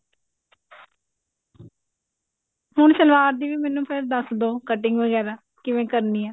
ਹੁਣ ਸਲਵਾਰ ਦੀ ਵੀ ਮੈਨੂੰ ਫ਼ੇਰ ਦੱਸ ਦਿਓ cutting ਵਗੇਰਾ ਕਿਵੇਂ ਕਰਨਾ ਹੈ